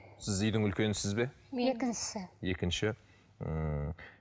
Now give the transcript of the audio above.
сіз үйдің үлкенісіз бе екіншісі екінші ммм